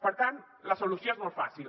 per tant la solució és molt fàcil